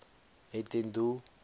het ten doel